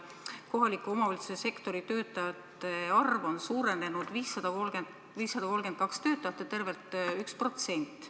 Kohalike omavalitsuste töötajate arv on suurenenud 532 töötaja võrra, tervelt 1%.